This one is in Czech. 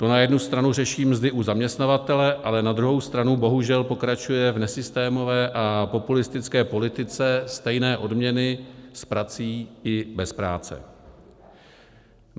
To na jednu stranu řeší mzdy u zaměstnavatele, ale na druhou stranu bohužel pokračuje v nesystémové a populistické politice stejné odměny s prací i bez práce.